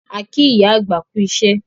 A kí ìyá àgbà kú iṣẹ́